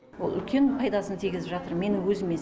ол үлкен пайдасын тигізіп жатыр менің өзіме